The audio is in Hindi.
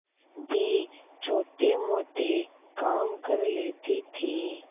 भी छोटेमोटे काम कर लेती थी